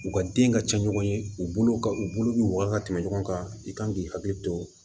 U ka den ka ca ɲɔgɔn ye u bolo ka u bolo bi woyan ka tɛmɛ ɲɔgɔn kan i kan k'i hakili to